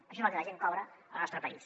això és el que la gent cobra al nostre país